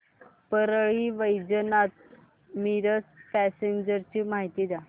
Parli Vaijnath Miraj passenger ची माहिती द्या